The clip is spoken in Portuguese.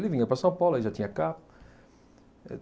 Ele vinha para São Paulo, aí já tinha carro.